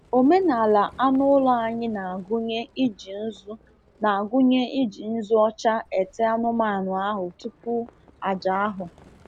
Omenala anụ ụlọ anyị na-agụnye iji nzu na-agụnye iji nzu ọcha ete anụmanụ ahụ tupu àjà ahụ.